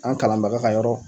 An kalanbaga ka yɔrɔ